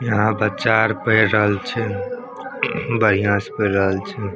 यहां बच्चा आर पढ़ रहल छै बढ़िया से पढ़ रहल छै।